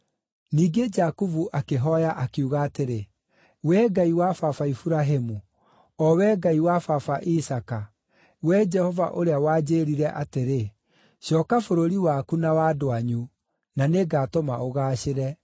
Ningĩ Jakubu akĩhooya, akiuga atĩrĩ, “Wee Ngai wa baba Iburahĩmu, o Wee Ngai wa baba Isaaka, Wee Jehova ũrĩa wanjĩĩrire atĩrĩ, ‘Cooka bũrũri waku na wa andũ anyu, na nĩngatũma ũgaacĩre,’